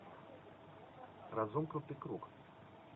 разомкнутый круг